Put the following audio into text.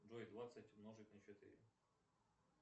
джой двадцать умножить на четыре